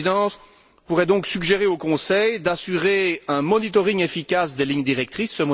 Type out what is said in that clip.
La Présidence pourrait donc suggérer au Conseil d'assurer un suivi efficace des lignes directrices.